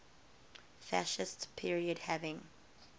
fascist period having